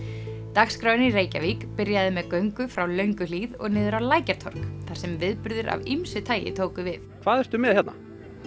dagskráin í Reykjavík byrjaði með göngu frá Lönguhlíð og niður á Lækjartorg þar sem viðburðir af ýmsu tagi tóku við hvað ertu með hérna